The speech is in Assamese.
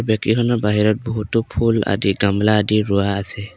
বেকীখনৰ বহুতো ফুল আদি গমলা আদি ৰুৱা আছে।